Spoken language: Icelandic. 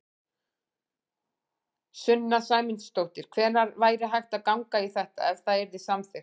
Sunna Sæmundsdóttir: Hvenær væri hægt að ganga í þetta, ef það yrði samþykkt?